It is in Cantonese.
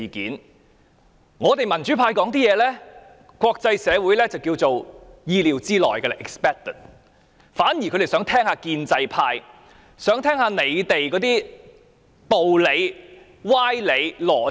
對於我們民主派的發言，國際社會認為是意料之內，他們反而想聽聽建制派的道理、歪理、邏輯。